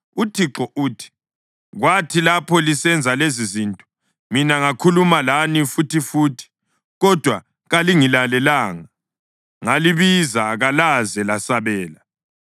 UThixo uthi, kwathi lapho lisenza lezizinto, mina ngakhuluma lani futhifuthi, kodwa kalingilalelanga, ngalibiza, kalaze lasabela.